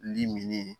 Limini